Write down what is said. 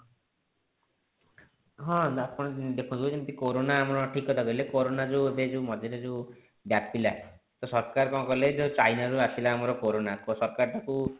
ହଁ ଆପଣ ଦେଖନ୍ତୁ ଯେମତି କୋରୋନା ଆମର ଠିକ କଥା କହିଲେ କୋରୋନା ଯୋଉ ଏବେ ଯୋଉ ମଝିରେ ଯେଉଁ ବ୍ୟାପିଲା ତ ସରକାର କଣ କଲେ ଯେଉଁ ଚାଇନା ରୁ ଆସିଲା ଆମର କୋରୋନା ତ ସରକାର ତାକୁ